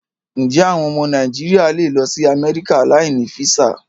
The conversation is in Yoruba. Ǹjé́ àwọn ọmọ Nàìjíríà lè lọ sí Amẹ́ríkà láì ní físà?